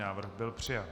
Návrh byl přijat.